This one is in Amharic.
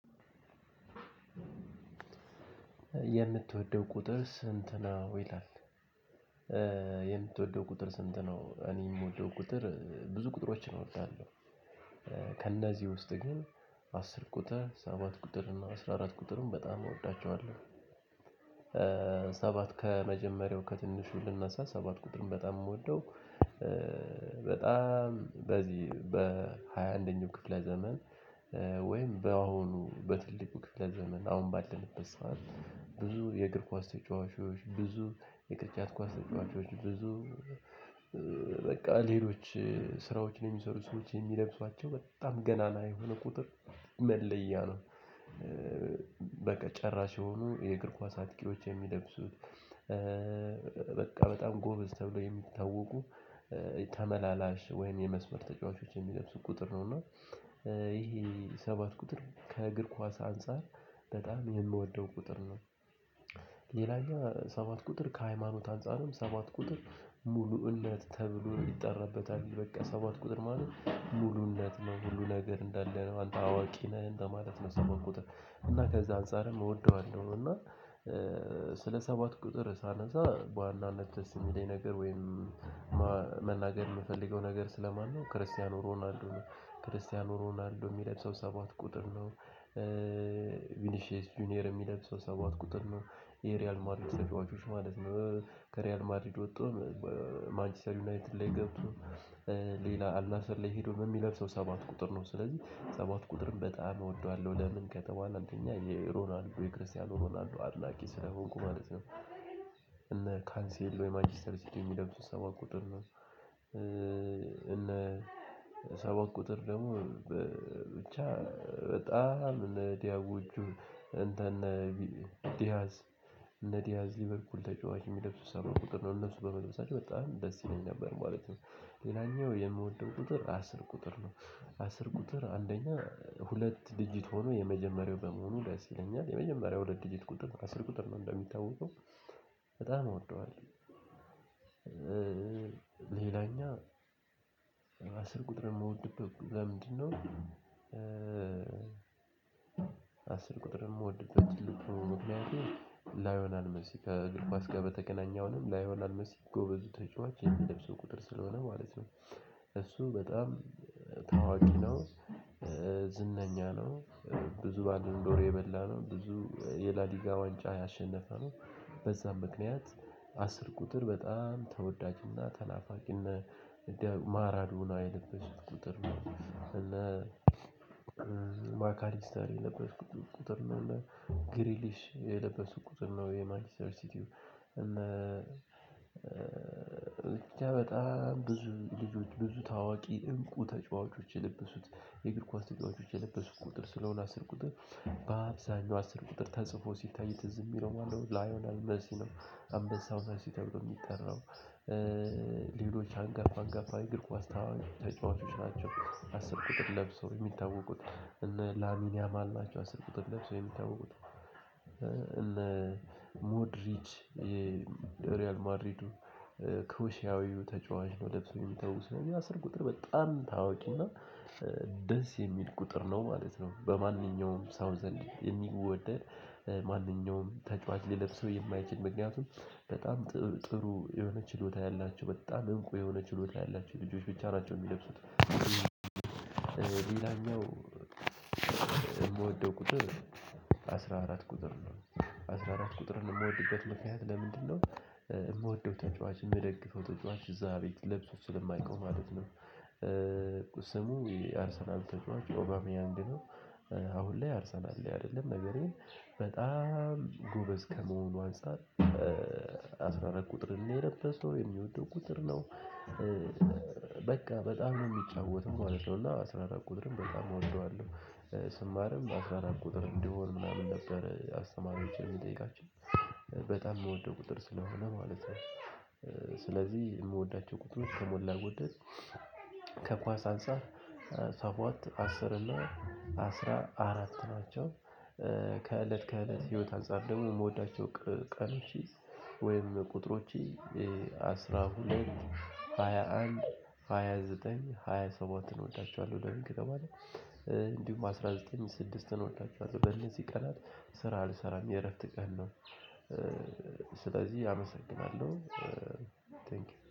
የምትወደው ቁጥር ስንት ነው? ይላል። ቁጥር ስንት ነው እኔ እምወደው ቁጥር ብዙ ቁጥሮችን እወዳለሁ። ከእነዚህ ውስጥ ግን አስር ቁጥር ሰባት ቁጥር እና አስራ አራት ቁጥርን በጣም እወዳቸዋለሁ። ሰባት ከመጀመሪያው ከትንሹ ልነሳ ሰባት ቁጥርን በጣም እምወደው በጣም በዚህ በሃያ አንደኛው ክፍለ ዘመን። ወይም በአሁኑ በትልቁ ክፍለ ለዘመን አሁን ባለንበት ሰዓት ብዙ የእግር ኳስ ተጫዋቾች ብዙ የቅርጫት ኳስ ተጫዋቾች ብዙ በቃ ሌሎች ስራዎችን የሚሰሩ ሰዎች እሚለብሷቸው በጣም ገናና የሆነ ቁጥር መለያ ነው። በቃ ጨራሽ የሆኑ የእግር ኳስ አጥቂዎች የሚለብሱት። በቃ በጣም ጎበዝ ተብሎ የሚታወቁ ተመላላሽ ወይም የመስመር ተጫዋቾች የሚለብሱት ቁጥር ነው እና ይሄ ሰባት ቁጥር ከእግር ኳስ አንፃር በጣም የምወደው ቁጥር ነው። ሌላኛው ሰባት ቁጥር ከሀይማኖት አንፃርም ሰባት ቁጥር ሙሉ እነት ተብሎ ይጠራበታል። በቃ ሰባት ቁጥር ማለት ሙሉነት ነው ሁሉ ነገር እንዳለነው አንተ አዋቂ ነህ እንደማለት ነው። እና ከዛ አንፃርም እወደዋለሁ እና ስለ ሰባት ቁጥር ሳነሳ በዋናነት ደስ እሚለኝ ነገር ወይም መናገር እምፈልገው ነገር ስለማን ነው ክርስቲያኖ ሮናልዶ ነው። ክርስቲያኖ ሮናልዶ እሚለብሰው ሰባት ቁጥር ነው። ቪኒሼስ ጁኒየር እሚለብሰው ሰባት ቁጥር ነው የሪያል ማድሪድ ተጫዋቾች ማለት ነው። ከሪያል ማድሪድ ወጥቶ ማንችስተር ዩናይትድ ላይ ገብቶ ሌላ አልናስር ላይ ሄዶም እሚለብሰው ሰባት ቁጥር ነው። ስለዚህ ሰባት ቁጥርን በጣም እወደዋለሁ ለምን ከተባለ አንደኛ የሮናልዶ የክርስቲያኖ ሮናልዶ አድላቂ ስለሆንኩ ማለት ነው። እነ ካንሴሎ የማንችስተር ሲቲ እሚለብሱት ሰባት ቁጥር ነው። እነ ሰባት ቁጥር ደግሞ ብቻ በጣም እነ ዲያቦቹ እንትን እነ ዲያዝ እነ ዲያዝ ሊበርፑል ተጫዋች እሚለብሱ ሰባት ቁጥር ነው እነሱ በመልበሳቸው በጣም ደስ ይለኝ ነበር ማለት ነው። ሌላኛው የምወደው ቁጥር አስር ቁጥር ነው። አስር ቁጥር አንደኛ ሁለት ዲጂት ሆኖ የመጀመሪያው በመሆኑ ደስ ይለኛል የመጀመሪያው ሁለት ዲጂት ቁጥር ነው አስር ቁጥር ነው እንደሚታወቀው በጣም እወደዋለሁ። ሌላኛው አስር ቁጥር እምወድበት በምንድን ነው? አስር ቁጥር እምወድበት ትልቁ ምክንያቴ ሊወኔል ሜሲ ከእግር ኮስ ጋር በተገናኘ አሁንም ሊወናል ሜሲ ጎበዝ ተጫዋች የሚለብሰው ቁጥር ስለሆነ ማለት ነው። እሱ በጣም ታዋቂ ነው። ዝነኛ ነው ብዙ ባላንዶር የበላ ነው ብዙ የላሊጋ ዋንጫ ያሸነፈ ነው። በዛም ምክንያት አስር ቁጥር በጣም ተወዳጅና ተናፋቂነት ማራዶና የለበሱት ቁጥር ነው። እና ማካሊስተር የለበሱት ቁጥር ነው እና ግሪሊሽ የለበሱ ቁጥር ነው። የማንችስተር ሲቲው እና በጣም ብዙ ብዙ ብዙ ታዋቂ እንቁ ተጫዋቾች የለበሱት የእግር ኳስ ተጫዋቾች የለበሱ ቁጥር ስለሆነ አስር ቁጥር በአብዛኛው አስር ቁጥር ተጽፎ ሲታይ ትዝ እሚለው ማነው ሊወኔል ሜሲ ነው። አንበሳው ሜሲ ተብሎ እሚጠራው ሌሎች አንጋፋ አንጋፋ የእግር ኳስ ተጫዋቾች ናቸው። አስር ቁጥር ለብሰው እሚታወቁት ላሚኒያማል ናቸው አስር ቁጥር ለብሰው እሚታወቁት እነ ሞድሪች የሪያል ማድሪዱ ክሩሺያዊው ተጫዋች ነው ለብሶ እሚታወሰው እና አስር ቁጥር በጣም ታወቂና ደስ የሚል ቁጥር ነው ማለት ነው። በማንኛውም ሰው ዘንድ የሚወደድ ማንኛውም ተጫዋች ሊለብሰው የማይችል ምክንያቱም በጣም ጥሩ የሆነ ችሎታ ያላቸው በጣም እብቁ የሆነ ችሎታ ያላቸው ልጆች ብቻ ናቸው እሚለብሱት። ሌላኛው እምወደው ቁጥር አስራ አራት ቁጥር ነው። አስራ አራት ቁጥርን እምወድበት ምክንያት ለምንድን ነው? እምወደው ተጫዋች እምደግፈው ተጫዋች እዛ ቤት ለብሶ ስለማይ የው ማለት ነው። ስሙ የአርሰናል ተጫዋች ኦባሚያንግ ነው። አሁን ላይ አርሰናል ላይ አይደለም ነገር ግን በጣም ጎበዝ ከመሆኑ አንፃር አስራ አራት ቁጥር የው የለበሰው እሚወደው ቁጥር ነው። በቃ በጣም ነው እሚጫወተው ማለት ነው እና አስራ አራት ቀጥርን በጣም ነው እወደዋለሁ። ስማርም አስራ አራት ቁጥር እንድሆን ነበር አስተማሪወቸን እምጠይቃቸው በጣም እምወደው ቁጥር ስለሆነ ማለት የው። ስለዚህ ከምወዳቸው ቁጥሮች ከሞላ ጎደል ከኳስ አንፃር ሰባት አስር እና አስራ አራት ናቸው። ከእለት ከእለት ህይወት አንፃር ደግሞ እምወዳቸው ቀንወች ወይም ቁጥሮች አስራ ሁለት ሃያ አንድ ሃያ ዘጠኝ ሃያ ሰባትን እወዳቸዋለሁ። ለምን ከተባለ። እንዲሁም አስራ ዘጠኝን ስድስትን እወዳቸዋለሁ። በእነዚህ ቀናት ስራ አልሰራም የእረፍት ቀን ነው። ስለዚህ አመሰግናለሁ።